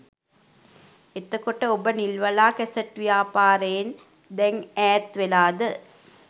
එතකොට ඔබ නිල්වලා කැසට් ව්‍යාපාරයෙන් දැන් ඈත්වෙලාද?